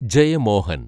Jayamohan